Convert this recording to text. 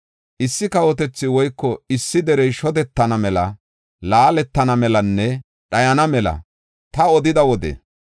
Issi kawotethi woyko issi derey shodetana mela, laaletana melanne dhayana mela ta odida wode,